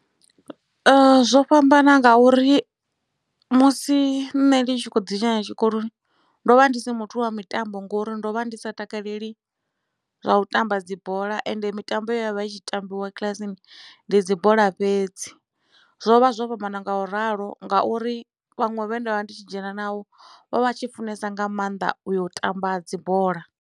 Zwo fhambana ngauri musi nṋe ndi tshi kho ḓi dzhena tshikoloni ndovha ndi si muthu wa mitambo ngori ndo vha ndi sa takaleli zwa u tamba dzibola ende mitambo ye yavha i tshi tambiwa kilasini ndi dzi bola fhedzi zwo vha zwo fhambana nga u ralo ngauri vhaṅwe vhe ndavha ndi tshi dzhena navho vha vha tshi funesa nga maanḓa u yo tamba dzibola.